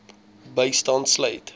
bystand sluit